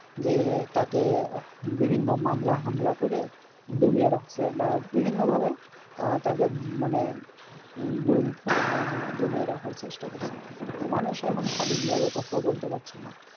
যে তাকে বিভিন্ন মামলা হামলা করে দমিয়ে রাখছে বা বিভিন্ন ভাবে আহ তাকে মানে গুম খুনের মাধ্যমে দমিয়ে রাখার চেষ্টা করছে। তো মানুষ এখন স্বাধীন ভাবে কোথাও বলতে পারছে না।